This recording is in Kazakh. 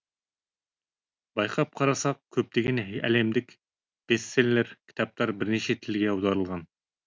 байқап қарасақ көптеген әлемдік бестселлер кітаптар бірнеше тілге аударылған